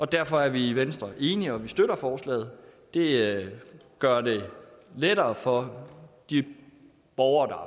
derfor er vi i venstre enige og vi støtter forslaget det gør det lettere for de borgere der